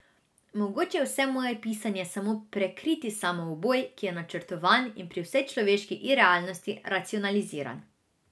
Mogoče je vse moje pisanje samo prekriti samouboj, ki je načrtovan in pri vsej človeški irealnosti racionaliziran.